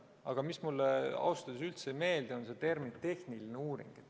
Aga mis mulle ausalt öeldes üldse ei meeldi, on see termin "tehniline uuring".